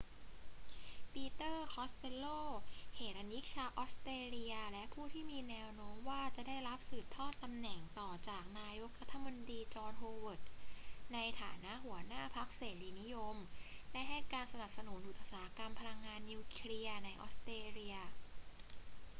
ปีเตอร์ คอสเตลโล เหรัญญิกชาวออสเตรเลียและผู้ที่มีแนวโน้มว่าจะได้รับสืบทอดตำแหน่งต่อจากนายกรัฐมนตรีจอห์น โฮเวิร์ด ในฐานะหัวหน้าพรรคเสรีนิยม ได้ให้การสนับสนุนอุตสาหกรรมพลังงานนิวเคลียร์ในออสเตรเลีย